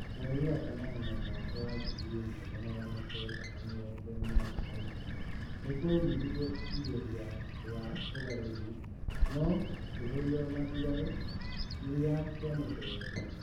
Mweri wa kanana mwaka wa ngiri imwe na magana kenda na mĩrongo enana na igĩrĩ nikwaumerire igeria ria ugarũri noo shikihorio na mbirarũ iria cimuteyete.